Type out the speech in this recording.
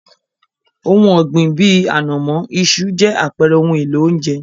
Ohun ọ̀gbìn bíi, ànàmọ́, iṣu, jẹ́ àpẹrẹ ohun èlò oúnjẹ.